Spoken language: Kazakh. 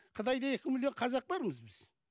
қытайда екі миллион қазақ бармыз біз